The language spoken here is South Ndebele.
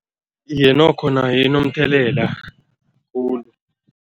Iye, nokho nayo inomthelela khulu.